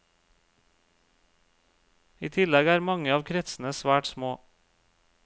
I tillegg er mange av kretsene svært små.